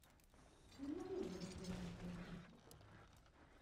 не могли бы вы заменить полотенца